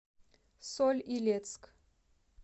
соль илецк